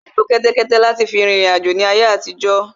Wọ́n má ń lo kẹ́tẹ́kẹ́té láti fi rin ìriǹ àjò láyé àtijọ́